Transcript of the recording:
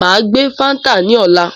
Máa gbé fáńtà ní ọ̀la